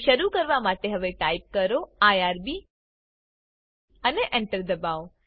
ને શરુ કરવા માટે હવે ટાઈપ કરો આઇઆરબી અને Enter દબાઓ